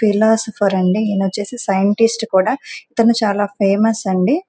Philosopher అంది ఈయనొచ్చేసి scientist కూడా ఇతను చాల ఫేమస్ అండి.